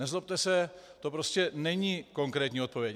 Nezlobte se, to prostě není konkrétní odpověď.